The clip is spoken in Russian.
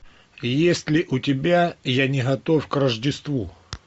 есть ли у тебя я не готов к рождеству